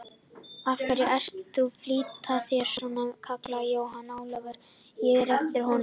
Af hverju ertu að flýta þér svona, kallaði Jón Ólafur á eftir honum.